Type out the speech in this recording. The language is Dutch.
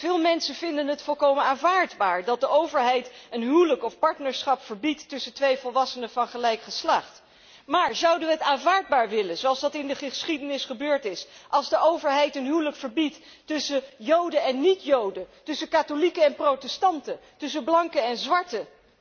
Veel mensen vinden het volkomen aanvaardbaar dat de overheid een huwelijk of partnerschap verbiedt tussen twee volwassenen van gelijk geslacht. Maar zouden we het aanvaardbaar vinden zoals dat in de geschiedenis gebeurd is als de overheid een huwelijk verbiedt tussen joden en niet joden, tussen katholieken en protestanten, tussen blanken en zwarten?